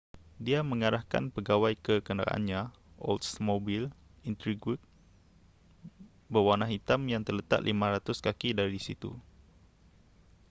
dia mengarahkan pegawai ke kenderaannya oldsmobile intrigue berwarna hitam yang terletak 500 kaki dari situ